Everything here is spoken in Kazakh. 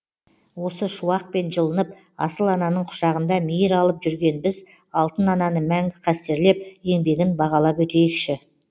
осы шуақпен жылынып асыл ананың құшағында мейір алып жүрген біз алтын ананы мәңгі қастерлеп еңбегін бағалап өтейікші